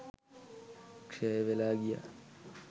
ක්ෂය වෙලා ගියා.